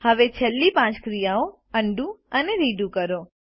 હવે છેલ્લી પાંચ ક્રિયાઓ અન્ડું અને રીડુ કરો